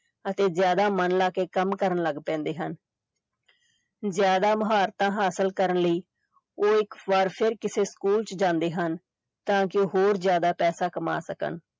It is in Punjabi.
ਅਤੇ ਜ਼ਿਆਦਾ ਮਨ ਲਾ ਕੇ ਕੰਮ ਕਰਨ ਲੱਗ ਪੈਂਦੇ ਹਨ ਜ਼ਿਆਦਾ ਮੁਹਾਰਤਾਂ ਹਾਸਿਲ ਕਰਨ ਲਈ ਉਹ ਇੱਕ ਵਾਰ ਫਿਰ ਕਿਸੇ ਸਕੂਲ ਚ ਜਾਂਦੇ ਹਨ, ਤਾਂ ਕਿ ਉਹ ਹੋਰ ਜ਼ਿਆਦਾ ਪੈਸਾ ਕਮਾ ਸਕਣ।